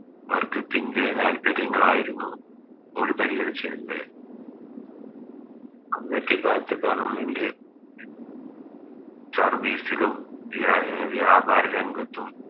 വർഗ്ഗത്തിൻറെ താല്പര്യങ്ങളായിരുന്നു പരിഗണിച്ചിരുന്നത് അന്നത്തെ കാലത്ത് Government Service ലും വ്യ വ്യാപാര രംഗത്തും